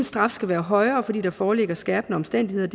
straf skal være højere fordi der foreligger skærpende omstændigheder